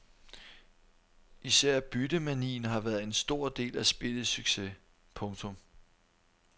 Især byttemanien har været en stor del af spillets succes. punktum